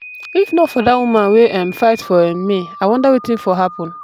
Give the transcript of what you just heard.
if not for that woman wey um fight for um me i wonder wetin for happen.